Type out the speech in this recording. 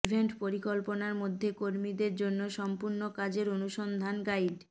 event পরিকল্পনা মধ্যে কর্মীদের জন্য সম্পূর্ণ কাজের অনুসন্ধান গাইড